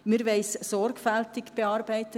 Wir wollen es sorgfältig bearbeiten.